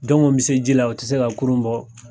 bɛ se ji la o tɛ se ka kurun bɔ.